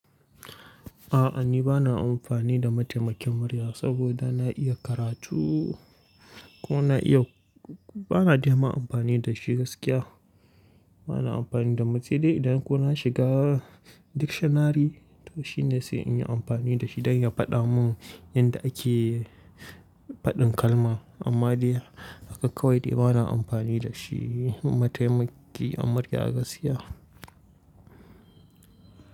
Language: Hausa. A'a ni bana amfani da mataimakin murya saboda na iya karatu kuma na iya, bana dai ma amfani da shi gaskiya. Bana amfani da ma sai dai idan ko na shiga dictionary shine sai in yi amfani da shi don ya faɗa mun yadda ake faɗin kalma. Amma dai haka kawai dai bana amfani da shi mataimaki na murya gaskiya.